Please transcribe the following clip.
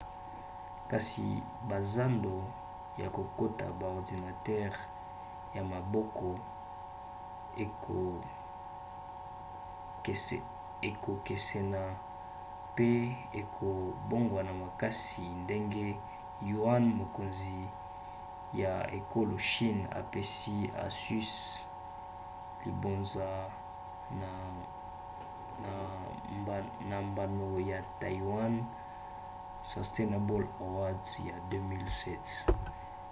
kasi bazando ya koteka baordinatere ya maboko ekokesena pe ekobongwana makasi ndenge yuan mokonzi ya ekolo chine apesi asus libonza na mbano ya taiwan sustainable award ya 2007